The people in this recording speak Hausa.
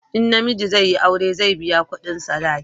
in namiji zai yi aure, zai biya kudin sadaki